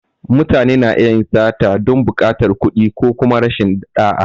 Mutane na iya yin sata don buƙatar kuɗi ko kuma rashin ɗa’a.